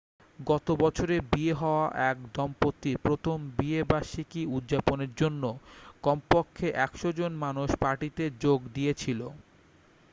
গত বছরে বিয়ে হওয়া এক দম্পতির প্রথম বিয়ে বার্ষিকী উদযাপনের জন্য কম পক্ষে 100 জন মানুষ পার্টিতে যোগ দিয়েছিল